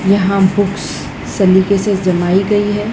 यहाँ बुक्स शलीके से जमाई गई है।